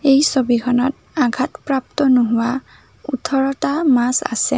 এই ছবিখনত আঘাতপ্ৰাপ্ত নোহোৱা ওঠৰটা মাছ আছে।